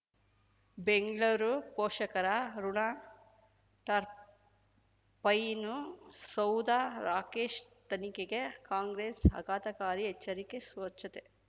ಬೆಂಗ್ಳೂರು ಪೋಷಕರ ಋಣ ಟರ್ಬೈನು ಸೌಧ ರಾಕೇಶ್ ತನಿಖೆಗೆ ಕಾಂಗ್ರೆಸ್ ಆಘಾತಕಾರಿ ಎಚ್ಚರಿಕೆ ಸ್ವಚ್ಛತೆ